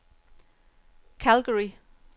Calgary